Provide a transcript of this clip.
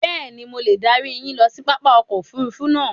Bẹ́ẹ̀ni, mo le darí yín ló si pápá ọkọ̀ òfurufú náà